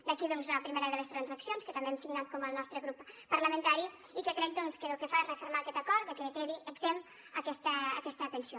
d’aquí doncs la primera de les transaccions que també hem signat com el nostre grup parlamentari i que crec que el que fa és refermar aquest acord que quedi exempta aquesta pensió